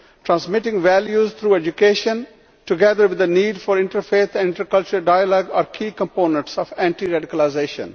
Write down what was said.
Transmitting values through education, together with the need for inter faith and inter cultural dialogue are key components of anti radicalisation.